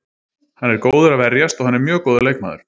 Hann er góður að verjast og hann er mjög góður leikmaður.